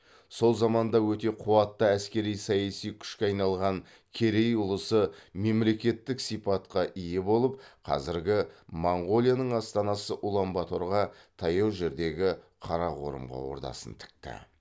сол заманда өте қуатты әскери саяси күшке айналған керей ұлысы мемлекеттік сипатқа ие болып қазіргі монғолияның астанасы улан баторға таяу жердегі қарақорымға ордасын тікті